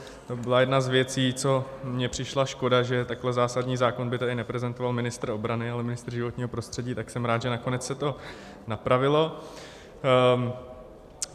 To byla jedna z věcí, co mně přišla škoda, že takhle zásadní zákon by tady neprezentoval ministr obrany, ale ministr životního prostředí, tak jsem rád, že nakonec se to napravilo.